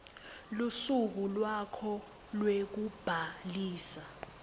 lusuku lwakho lwekubhalisa